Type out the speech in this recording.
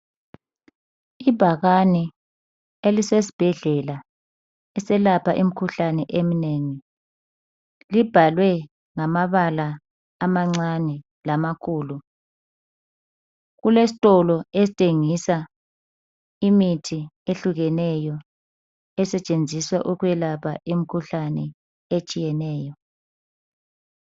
Ibhakani elisesbhedlela esiyelapha imikhuhlane eminengi libhalwe ngamabala amancane lamakhulu kulestolo esithengisa imithi ehlukeneyo esetshenziswa ukwelapha imikhuhlane etshiyeneyo